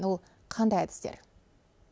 ол қандай әдістер